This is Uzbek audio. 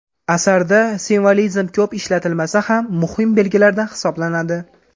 Asarda simvolizm ko‘p ishlatilmasa ham, muhim belgilardan hisoblanadi.